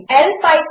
1